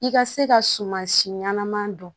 I ka se ka sumansi ɲɛnaman don